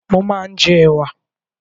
Mó máa ń jẹ ẹ̀wà